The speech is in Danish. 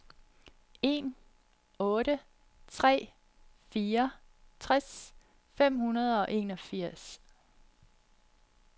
en otte tre fire tres fem hundrede og enogfirs